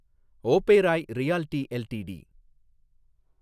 Oberoi realty LTD